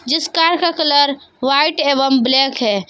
जिस कार का colour white एवं ब्लैक है।